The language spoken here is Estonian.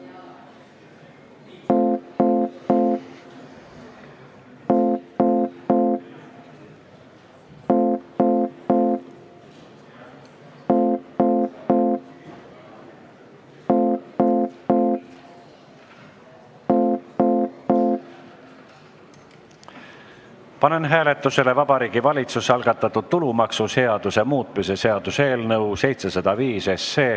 Panen hääletusele Vabariigi Valitsuse algatatud tulumaksuseaduse muutmise seaduse eelnõu 705.